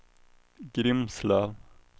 Grimslöv